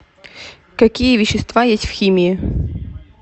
какие вещества есть в химии